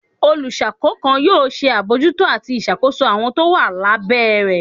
Oluṣakos kan yoo ṣe abojúto atí ìṣàkoso awọn to wa lá bẹ́ rẹ.